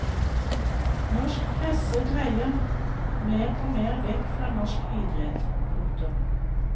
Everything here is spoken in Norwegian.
Norsk presse dreier mer og mer vekk fra norsk idrett. punktum